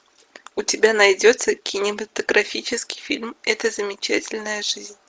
у тебя найдется кинематографический фильм эта замечательная жизнь